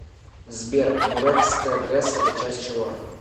сбер нурекская гэс это часть чего